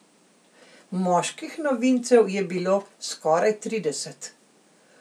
Moških novincev je bilo skoraj trideset.